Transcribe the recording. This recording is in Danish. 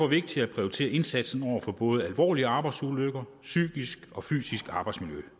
vigtigt at prioritere indsatsen mod både alvorlige arbejdsulykker psykiske og fysiske arbejdsmiljø